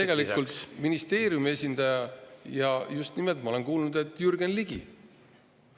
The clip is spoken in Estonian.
Nõus ei olnud ministeeriumi esindaja ja just nimelt, ma olen kuulnud, Jürgen Ligi.